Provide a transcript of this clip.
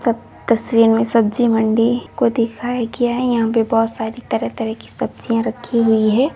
तस तस्वीर मे सब्जी मंडी को दिखाया गया है यहाँ पे बहोत सारी तरह तरह की सब्जियां रखी हुई है।